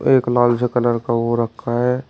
एक लाल सा कलर का वो रखा है।